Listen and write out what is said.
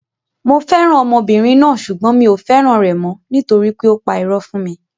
Mo fẹ́ràn ọmọbìnrin náà sugbon mi ò fẹ́ràn rẹ̀ mọ́, nitori pé ó pa irọ́ fún mi.